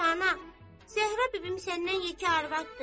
Yaxşı ana, Zəhrə bibim səndən yekə arvaddır.